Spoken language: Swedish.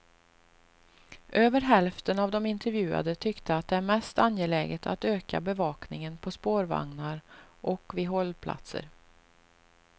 Över hälften av de intervjuade tyckte att det är mest angeläget att öka bevakningen på spårvagnar och vid hållplatser.